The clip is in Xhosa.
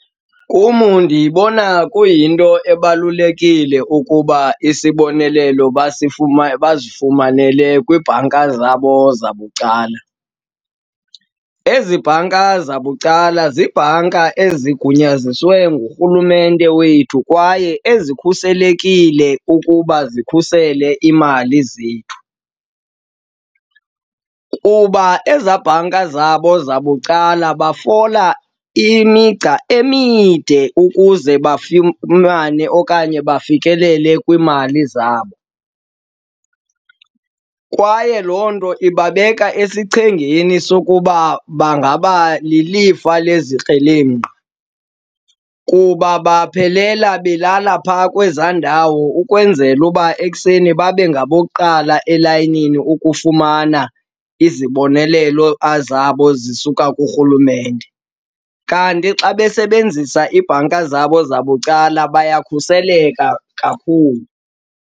Kum ndiyibona kuyinto ebalulekile ukuba isibonelelo bazifumanele kwiibhanka zabo zabucala. Ezi bhanka zabucala ziibhanka ezigunyazisiweyo ngurhulumente wethu kwaye ezikhuselekile ukuba zikhusele iimali zethu. Kuba ezaa bhanka zabo zabucala bafola imigca emide ukuze bafumane okanye bafikelele kwiimali zabo kwaye loo nto ibabeka esichengeni sokuba bangaba lilifa lezikrelemnqa kuba baphelela belala phaa kwezaa ndawo ukwenzela uba ekuseni babe ngabokuqala elayinini ukufumana izibonelelo zabo zisuka kurhulumente. Kanti xa besebenzisa iibhanka zabo zabucala bayakhuseleka kakhulu.